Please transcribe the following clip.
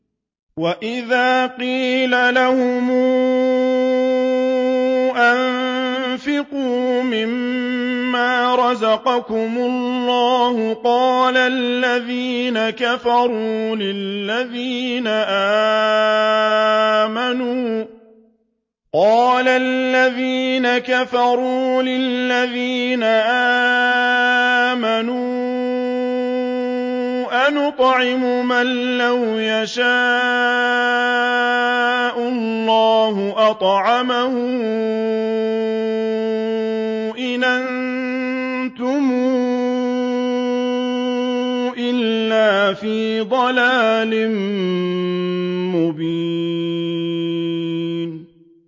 وَإِذَا قِيلَ لَهُمْ أَنفِقُوا مِمَّا رَزَقَكُمُ اللَّهُ قَالَ الَّذِينَ كَفَرُوا لِلَّذِينَ آمَنُوا أَنُطْعِمُ مَن لَّوْ يَشَاءُ اللَّهُ أَطْعَمَهُ إِنْ أَنتُمْ إِلَّا فِي ضَلَالٍ مُّبِينٍ